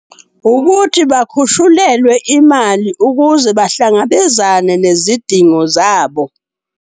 Ukuthi bakhushulelwe imali ukuze bahlangabezane nezidingo zabo.